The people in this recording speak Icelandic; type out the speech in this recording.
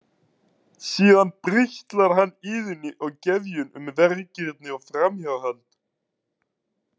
Síðan brigslar hann Iðunni og Gefjun um vergirni og framhjáhald.